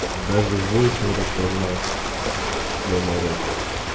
даже войс не распознал слово рот